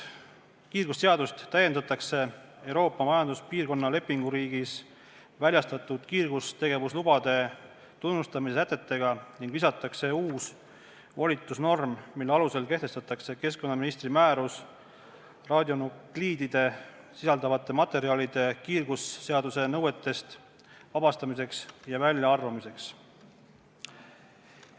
Kiirgusseadust täiendatakse Euroopa Majanduspiirkonna lepinguriigis väljastatud kiirgustegevuslubade tunnustamise sätetega ning lisatakse uus volitusnorm, mille alusel kehtestatakse keskkonnaministri määrus radionukliide sisaldavate materjalide kiirgusseaduse nõuetest vabastamiseks ja väljaarvamiseks.